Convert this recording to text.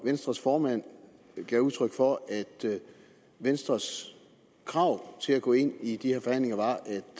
venstres formand gav udtryk for at venstres krav til at gå ind i de her forhandlinger